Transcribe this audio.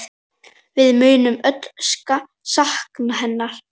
Við munum öll sakna hennar.